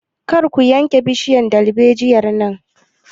Kar ku yanke bishiyar dalbejiyar nan!